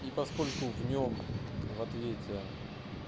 и поскольку в нём в ответе